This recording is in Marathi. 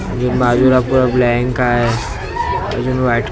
अजून बाजूला पुरं ब्लॅंक आहे अजून व्हाईट कलर --